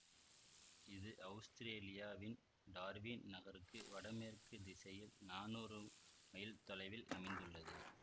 இது அவுஸ்திரேலியாவின் டார்வின் நகருக்கு வடமேற்குத் திசையில் நானூறு மைல் தொலைவில் அமைந்துள்ளது